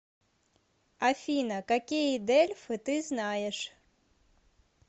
афина какие дельфы ты знаешь